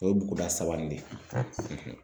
O ye buguda saba in ye